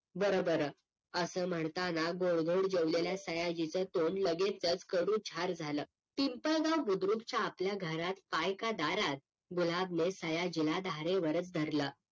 बरं बरं असं म्हणताना गोड धोड जेवलेल्या सयाजीच तोंड लगेचच कडू झार झालं पिंपळ राव बुद्रुकच्या आपल्या घरात हाय का दारात गुलाबने सयाजीला धारेवरच धरलं